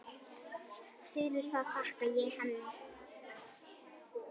Fyrir það þakka ég henni.